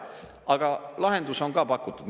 Aga lahendus on ka pakutud.